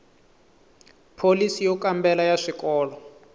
pholisi yo kambela ya swikolo